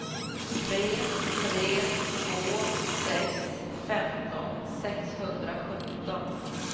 tre tre två sex femton sexhundrasjutton